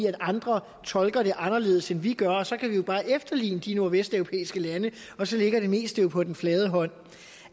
at andre tolker det anderledes end vi gør og så kan vi jo bare efterligne de nordvesteuropæiske lande og så ligger det meste jo på den flade hånd